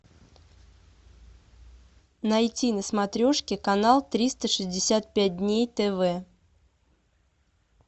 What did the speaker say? найти на смотрешке канал триста шестьдесят пять дней тв